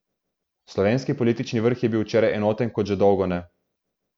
Slovenski politični vrh je bil včeraj enoten kot že dolgo ne.